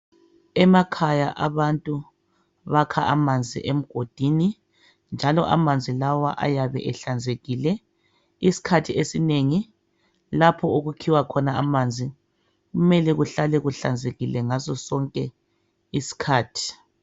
Emakhaya abantu bakha amanzi emgodini njalo amanzi lawa ayabe ehlanzekile. Isikhathi esinengi lapho okukhiwa khona amanzi kumele kuhlale kuhlanzekile ngaso sonke isikhathi.